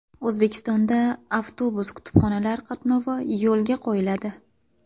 O‘zbekistonda avtobus-kutubxonalar qatnovi yo‘lga qo‘yiladi.